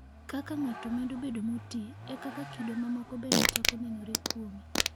Kaka ng'ato medo bedo moti, e kaka kido mamoko bende chako nenore kuome.